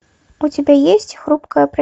у тебя есть хрупкая